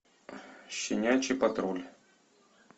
щенячий патруль